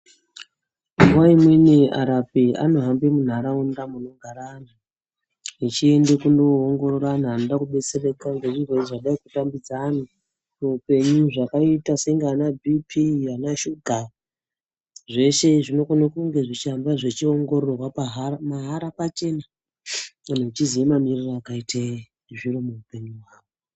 Nguwa imweni arapi anohambe munharaunda inogara anhu, echiende kunongorora anhu anoda kubetsereka ngezvirwere zvadai kutambudza anhu muupenyu, zvakaita sebhiiphii anashuga zvese zvonoongorora pachena